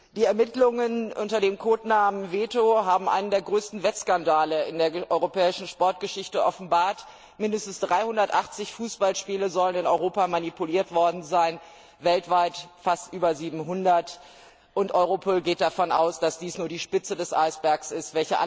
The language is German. Die Ermittlungen unter dem Codenamen Veto haben einen der größten Wettskandale in der europäischen Sportgeschichte offenbart Mindestens 380 Fußballspiele sollen in Europa manipuliert worden sein, weltweit fast über 700 und Europol geht davon aus, dass dies nur die Spitze des Eisbergs ist.